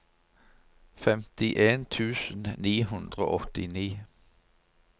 femtien tusen ni hundre og åttini